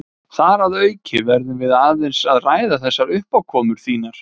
Þar að auki verðum við aðeins að ræða þessar uppákomur þínar.